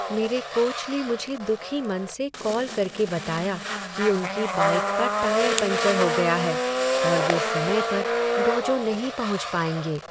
मेरे कोच ने मुझे दुखी मन से कॉल करके बताया कि उनकी बाइक का टायर पंक्चर हो गया है और वे समय पर डोजो नहीं पहुंच पाएंगे।